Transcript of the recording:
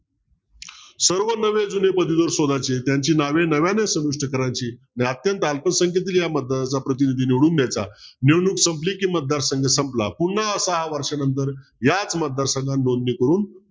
सर्व नवे जुने पदवीधर शोधायचे त्यांची नावे नव्याने समाविष्ट करायची अत्यंत अल्पसंख्येतुन या मतदानाचा प्रतिनिधी निवडून द्यायचा निवडणूक संपली की मतदार संघ संपला पुन्हा सहा वर्षानंतर याच मतदार संघात नोंदणी करून